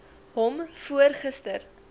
hom voor gister